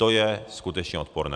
To je skutečně odporné.